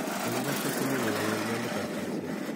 Egu Caster Semenya ng'ololindetab jinsia